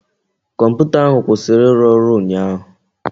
Kọmputa ahụ kwụsịrị ịrụ ọrụ ụnyaahụ